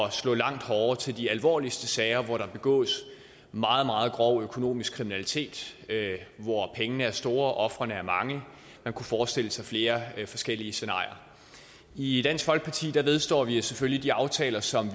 at slå langt hårdere til de alvorligste sager hvor der begås meget meget grov økonomisk kriminalitet hvor pengene er store og ofrene mange man kunne forestille sig flere forskellige scenarier i dansk folkeparti vedstår vi os selvfølgelig de aftaler som